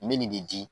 Nin bɛ nin de di